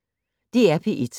DR P1